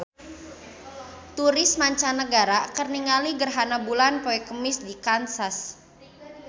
Turis mancanagara keur ningali gerhana bulan poe Kemis di Kansas